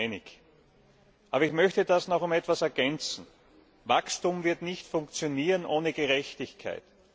Da sind wir uns einig. Aber ich möchte das noch um etwas ergänzen. Wachstum wird nicht funktionieren ohne Gerechtigkeit.